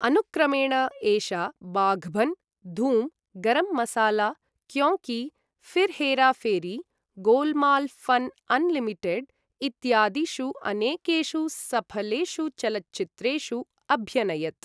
अनुक्रमेण एषा Baghban, Dhoom, Garam Masala, Kyon Ki, Phir Hera Pheri, Golmaal fun unlimited इत्यादिषु अनेकेषु सफलेषु चलच्चित्रेषु अभ्यनयत्।